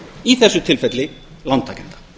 í þessu tilfelli lántakenda